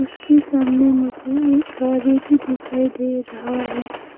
इसके सामने मुझे एक गाड़ी भी दिखाई दे रहा है।